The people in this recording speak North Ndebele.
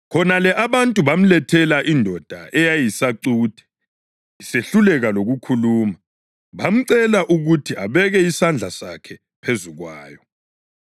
Khonale abantu bamlethela indoda eyayiyisacuthe isehluleka lokukhuluma, bamcela ukuthi abeke isandla sakhe phezu kwayo.